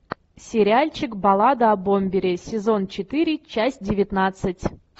сериальчик баллада о бомбере сезон четыре часть девятнадцать